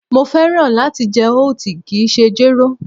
Mo fẹ́ràn láti jẹ oat, kìí ṣe jéró